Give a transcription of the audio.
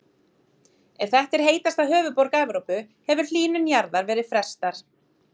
Ef þetta er heitasta höfuðborg Evrópu hefur hlýnun jarðar verið frestað.